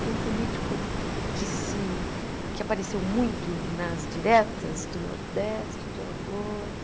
Era um político que se que apareceu muito nas diretas do Nordeste, de Alagoas.